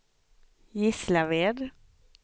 Gislaved